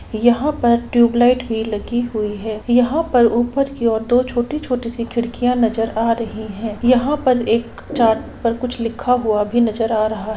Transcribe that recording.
यहां पर ट्यूबलाइट भी लगी हुई है यहां पर ऊपर की और दो छोटी-छोटी सी खिड़कियां भी नजर आ रही हैंयहां पर एक चार्ट पर कुछ लिखा हुआ भी नजर आ रहा है।